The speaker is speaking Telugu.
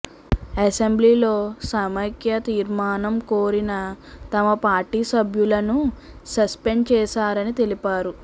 అసెంబ్లీలో సమైక్య తీర్మానం కోరిన తమ పార్టీ సభ్యులను సస్పెండ్ చేశారని తెలిపారు